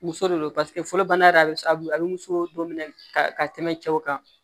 Muso de don paseke fɔlɔ bana bɛ sababu ye a bɛ muso don minɛ ka ka tɛmɛ cɛw kan